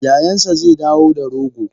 Yayansa zedawo da rogo.